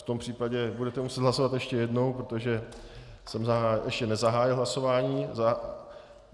V tom případě budete muset hlasovat ještě jednou, protože jsem ještě nezahájil hlasování.